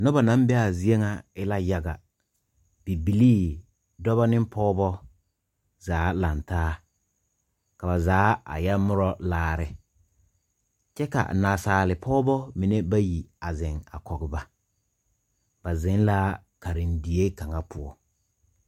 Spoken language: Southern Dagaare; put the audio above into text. Nuba nang be a zeɛ nga e la yaga bibilii ,dɔba ne pɔgba zaa langtaa ka ba zaa a ye muro laare kye ka naasaalpɔgba mene bayi a zeng kɔg ba ba zeng la karendie kanga pou.